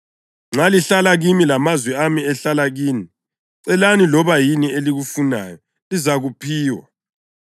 Nxa lihlala kimi lamazwi ami ehlala kini, celani loba yini eliyifunayo, lizayiphiwa.